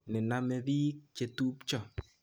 Nename piik chetupcho